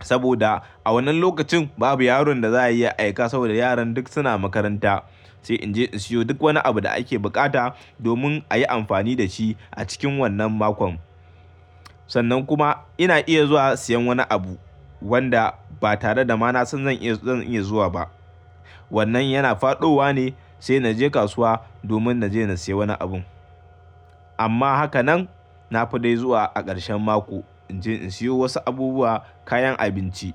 Saboda a wannan lokacin babu yaron da za a iya aika saboda yaran duk suna makaranta, sai in je in siyo duk wani abu da ake bukata domin a yi amfani da shi a cikin wannan makon. Sannan kuma ina iya zuwa siyan wani abu wanda ba tare da mana zan iya, zan iya zuwa ba. Wannan yana faɗowa ne sai na je kasuwa domin na je na sayi wani abin. Amma haka nan, na fi dai zuwa a ƙarshen mako in je in siyo wasu abubuwa, kayan abinci.